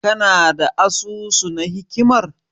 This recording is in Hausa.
Kana da asusu na hikimar?